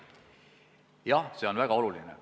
Jah, see on väga oluline.